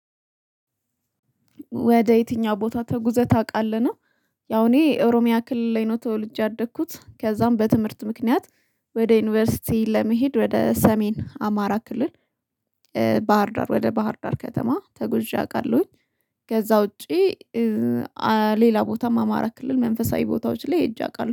ወደ የትኛው ቦታ ተጉዘህ ታውቃለህ ነው? ያው እኔ ኦሮሚያ ክልል ላይ ነው ተወልጄ ያደኩት ከዛም በትምህርት ምክንያት ወደ ዩኒቨርሲቲ ለመሄድ ወደ ሰሜን አማራ ክልል ባህርዳር ወደ ባህር ዳር ከተማ ተጎዣ አቃለሁኝ። ከዛ ውጪ ሌላ ቦታም አማራ ክልል መንፈሳዊ ቦታዎች ላይ ሄጄ አውቃለሁ